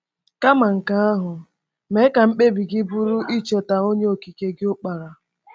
Kama nke ahụ, mee ka mkpebi gị bụrụ icheta Onye Okike gị Ukpara.